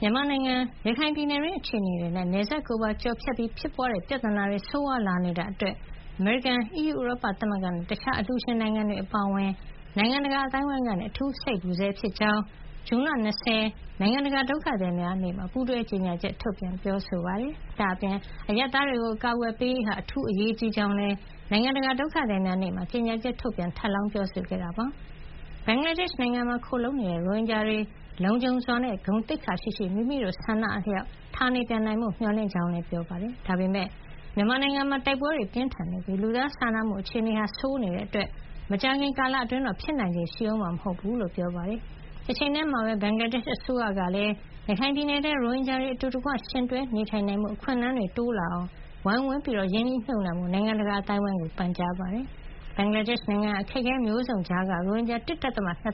မြန်မာနိုင်ငံ ရခိုင်ပြည်နယ်တွင်းအခြေနေနဲ့ နယ်စပ်ကိုပါကျော်ဖြတ်ပြီး ဖြစ်ပွါးတဲ့ပြဿနာတွေ ဆိုးဝါးလာနေတာအတွက် အမေရိကန်၊ အီးယူဥရောပသမဂ္ဂနဲ့ တခြားအလှူရှင် နိုင်ငံတွေအပါအဝင် နိုင်ငံတကာအသိုင်းဝိုင်းက အထူးစိတ်ပူဆဲဖြစ်ကြောင်း ဇွန်လ ၂၀ နိုင်ငံတကာ ဒုက္ခသည်များနေ့မှာ ပူးတွဲကြေညာချက် ထုတ်ပြန်ပြောဆိုပါတယ်။ ဒါ့အပြင် အရပ်သားတွေကို အကာကွယ်ပေးရေးဟာ အထူးအရေးကြီးကြောင်းလည်း နိုင်ငံတကာဒုက္ခသည်များနေ့မှာ ကြေညာချက်ထုတ်ပြီး ထပ်လောင်း ပြောဆိုခဲ့တာပါ။ ဘင်္ဂလားဒေ့ရှ်နိုင်ငံမှာခိုလှုံနေရတဲ့ ရိုဟင်ဂျာတွေ လုံခြုံစွာနဲ့ ဂုဏ်သိက္ခာရှိရှိ၊ မိမိတို့ဆန္ဒအလျှောက် ဌာနေပြန်နိုင်ဖို့လည်း မျှော်လင့်ကြကြောင်း ပြောပါတယ်။ ဒါပေမယ့် မြန်မာနိုင်ငံမှာ တိုက်ပွဲတွေပြင်းထန်နေပြီး လူသားစာနာမှု အခြေနေဆိုးဝါးနေတာကြောင့် မကြာခင်ကာလအတွင်းတော့ ဖြစ်နိုင်ခြေရှိအုံးမှာ မဟုတ်ကြောင်းလည်း ပြောပါတယ်။ တချိန်တည်းမှာပဲ ဘင်္ဂလားဒေ့ရှ်အစိုးရကလည်း ရခိုင်ပြည်နယ်ထဲမှာ ရိုဟင်ဂျာတွေ အတူတကွ ယှဉ်တွဲနေထိုင်နိုင်ဖို့ အခွင့်အလမ်းတွေ တိုးတက်လာအောင် ဝိုင်းဝန်းရင်းနှီးမြှုပ်နှံကြဖို့ နိုင်ငံတကာ အသိုင်းအဝိုင်းကို ပန်ကြားလိုက်ပါတယ်။ ဘင်္ဂလားဒေ့ရှ်နိုင်ငံဟာ အခက်အခဲမျိုးစုံကြားကပဲ ရိုဟင်ဂျာ ၁.၂